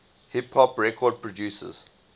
hip hop record producers